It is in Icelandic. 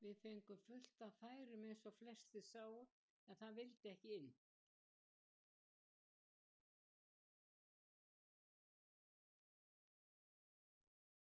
Við fengum fullt af færum eins og flestir sáu en það vildi ekki inn.